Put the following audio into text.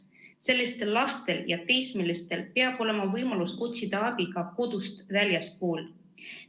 Sellistel lastel ja teismelistel peab olema võimalus otsida abi ka väljastpoolt kodu.